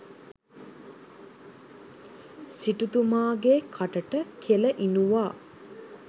සිටුතුමාගේ කටට කෙළ ඉනුවා.